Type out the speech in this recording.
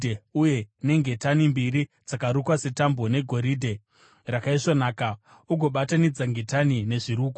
uye nengetani mbiri dzakarukwa setambo negoridhe rakaisvonaka, ugobatanidza ngetani nezvirukwa.